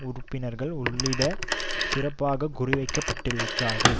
உறுப்பினர்கள் உள்பட சிறப்பாக குறிவைக்கப்பட்டிருக்கிறார்கள்